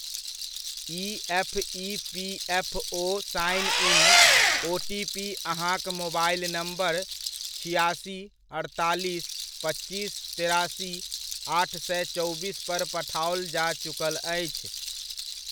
ई.एफ.ई.पी.एफ.ओ sign in OTP अहाँक mobile number छिआसी, अठतालिस, पच्चीस, तेरासी आठ सए चौबीसपर पठाओल जा चुकल अछि।